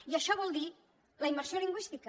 i això vol dir la immersió lingüística